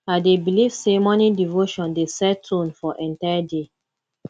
i dey believe say morning devotion dey set tone for entire day